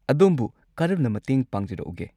ꯑꯗꯣꯝꯕꯨ ꯀꯔꯝꯅ ꯃꯇꯦꯡ ꯄꯥꯡꯖꯔꯛꯎꯒꯦ?